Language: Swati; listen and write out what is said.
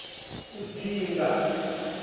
udzinga